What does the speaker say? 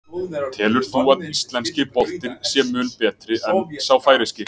Telur þú að íslenski boltinn sé mun betri en sá færeyski?